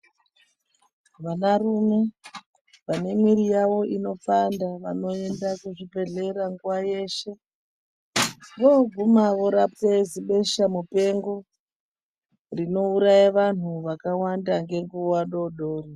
Vanarume vane miiri yavo inopanda vanoenda kuzvibhedhlera nguwayeshe. Voguma vanorapwe beshamupengo rinouraya vantu vakawanda ngenguwa dori dori.